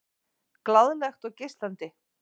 Glaðlegt og geislandi.